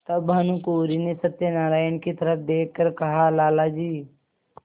तब भानुकुँवरि ने सत्यनारायण की तरफ देख कर कहालाला जी